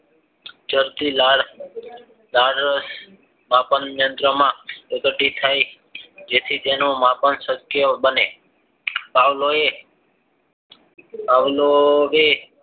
જાતરી લાળ લાળરસ પાચનયંત્રમાં પ્રગતિ થઈ અને તેનું માપન સત્ય બને પાવલાવે